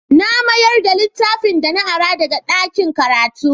Na mayar da littafin da na ara daga ɗakin karatu.